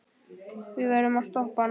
Við verðum að stoppa hann.